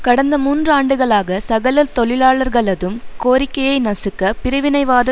கடந்த மூன்று ஆண்டுகளாக சகல தொழிலாளர்களதும் கோரிக்கையை நசுக்க பிரிவினைவாத